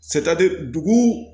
dugu